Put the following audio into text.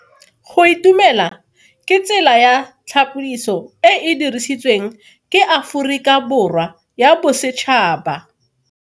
Go itumela ke tsela ya tlhapoliso e e dirisitsweng ke Aforika Borwa ya Bosetšhaba.